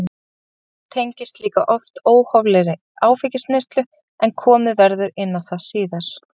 Framhjáhald tengist líka oft óhóflegri áfengisneyslu en komið verður inn á það síðar.